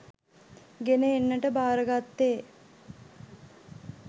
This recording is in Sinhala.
ගෙන එන්නට භාරගත්තේ